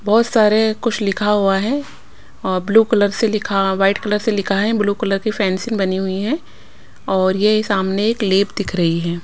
बहुत सारे कुछ लिखा हुआ है और ब्लू कलर से लिखा वाइट कलर से लिखा है ब्लू कलर की फैंसिंग बनी हुई है और ये सामने एक लेप दिख रही है।